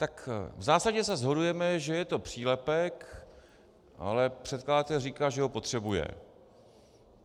Tak v zásadě se shodujeme, že je to přílepek, ale předkladatel říká, že ho potřebuje.